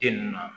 Den ninnu na